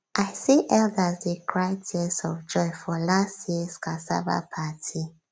i see elders dey cry tears of joy for last years cassava party